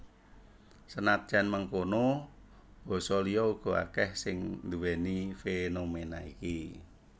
Senadyan mengkono basa liya uga akèh sing nduwèni fénoména iki